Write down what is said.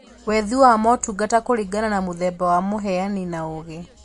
Wethĩ wa motungata kũringana na mũthemba wa mũheani na ũgĩi